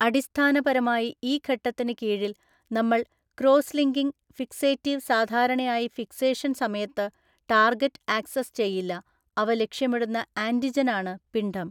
അടിസ്ഥാനപരമായിഈ ഘട്ടത്തിന് കീഴിൽ നമ്മള്‍ ക്രോസ്ലിങ്കിങ് ഫിക്സേറ്റീവ് സാധാരണയായി ഫിക്സേഷൻ സമയത്ത് ടാർഗറ്റ് ആക്സസ് ചെയ്യില്ലഅവ ലക്ഷ്യമിടുന്ന ആന്‍റിജനാണ് പിണ്ഡം.